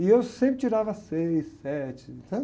E eu sempre tirava seis, sete, sabe?